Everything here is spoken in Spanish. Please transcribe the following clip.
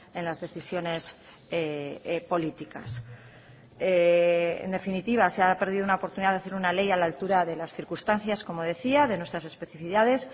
en las decisiones políticas en definitiva se ha perdido una oportunidad de hacer una ley a la altura de las circunstancias como decía de nuestras especificidades